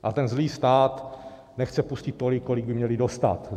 A ten zlý stát nechce pustit tolik, kolik by měli dostat.